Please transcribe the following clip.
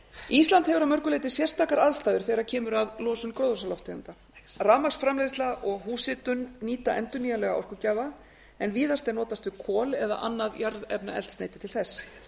ísland hefur að mörgu leyti sérstakar aðstæður þegar kemur að losun gróðurhúsalofttegunda rafmagnsframleiðsla og húshitun nýta endurnýjanlega orkugjafa en víðast er notast við kol eða annað jarðefnaeldsneyti til þess